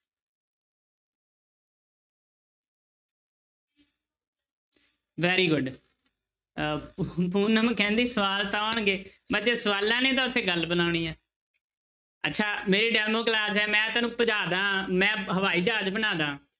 Very good ਅਹ ਪੂਨਮ ਕਹਿੰਦੀ ਸਵਾਲ ਤਾਂ ਆਉਣਗੇ ਬੱਚੇ ਸਵਾਲਾਂ ਨੇ ਤਾਂ ਉੱਥੇ ਗੱਲ ਬਣਾਉਣੀ ਹੈ ਅੱਛਾ ਮੇਰੀ demo class ਹੈ ਮੈਂ ਤੁਹਾਨੂੰ ਭਜਾ ਦੇਵਾਂ ਮੈਂ ਹਵਾਈ ਜਹਾਜ਼ ਬਣਾ ਦੇਵਾਂ